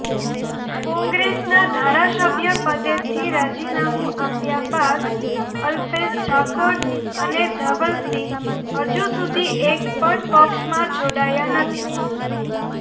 કોંગ્રેસના ધારાસભ્યપદેથી રાજીનામુ આપ્યા બાદ અલ્પેશ ઠાકોર અને ધવલસિંહ હજુ સુધી એકપણ પક્ષમાં જોડાયા નથી